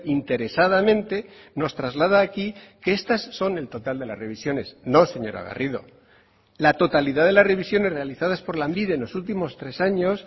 interesadamente nos traslada aquí que estas son el total de las revisiones no señora garrido la totalidad de las revisiones realizadas por lanbide en los últimos tres años